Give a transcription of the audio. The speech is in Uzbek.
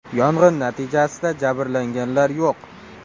Yong‘in natijasida jabrlanganlar yo‘q.